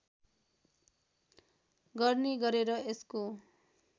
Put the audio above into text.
गर्ने गरेर यसको